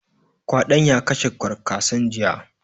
Ƙwadon ya kashe ƙwarkasan jiya